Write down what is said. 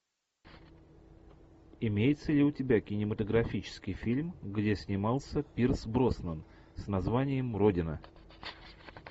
имеется ли у тебя кинематографический фильм где снимался пирс броснан с названием родина